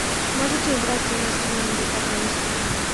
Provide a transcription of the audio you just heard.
можете убраться у нас в номере пожалуйста